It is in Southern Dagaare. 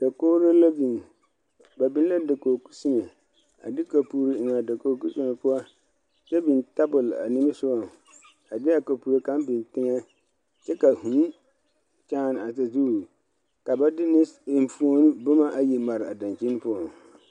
Dakogri la biŋ ba be la dakogi koseme a de kaporo eŋ a dakogi soma poɔ kyɛ biŋ tabol a die sɔgɔ a de a kaporo kaŋa biŋ teŋɛ kyɛ ka a vūū kyaani a sazu ka ba de enfuoni boma ayi mare a dakyini poɔŋ.